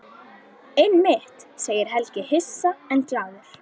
Einmitt, segir Helgi hissa en glaður.